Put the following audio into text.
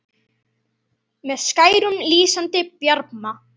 með skærum, lýsandi bjarma